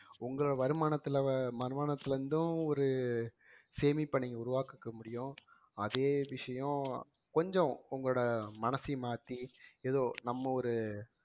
உங்க வருமானத்துல வருமானத்துல இருந்தும் ஒரு சேமிப்ப நீங்க உருவாக்கிக்க முடியும் அதே விஷயம் கொஞ்சம் உங்களோட மனசையும் மாத்தி ஏதோ நம்ம ஒரு